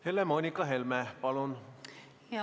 Helle-Moonika Helme, palun!